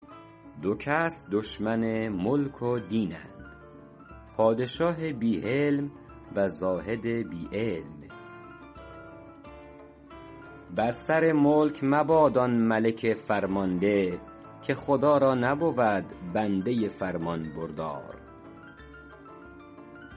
دو کس دشمن ملک و دینند پادشاه بی حلم و زاهد بی علم بر سر ملک مباد آن ملک فرمانده که خدا را نبود بنده فرمانبردار